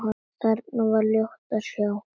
Þar var ljótt að sjá.